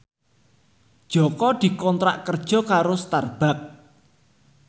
Jaka dikontrak kerja karo Starbucks